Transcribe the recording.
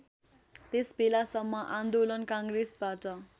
त्यसबेलासम्म आन्दोलन काङ्ग्रेसबाट